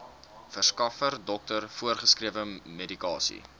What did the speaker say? verskaffer dokter voorgeskrewemedikasie